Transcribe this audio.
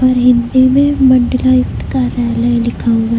और हिंदी में मंडलायुक्त कार्यालय लिखा हुआ--